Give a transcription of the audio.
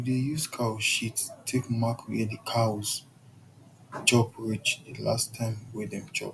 we dey use cow shit take mark where the cows chop reach the last time wey dem chop